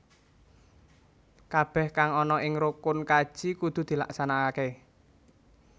Kabeh kang ana ing rukun kaji kudu dilaksanakake